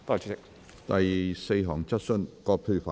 第四項質詢。